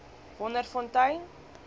wonderfontein